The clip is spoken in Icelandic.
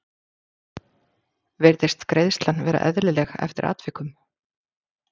Virðist greiðslan vera eðlileg eftir atvikum?